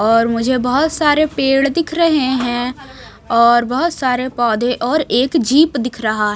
और मुझे बहोत सारे पेड़ दिख रहे हैं और बहोत सारे पौधे और एक जीप दिख रहा--